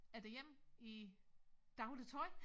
Er derhjemme i daglig tøj